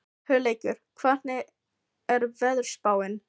Hugleikur, hvernig er veðurspáin?